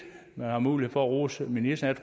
man har mulighed for at rose ministeren